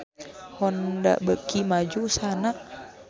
Honda beuki maju usahana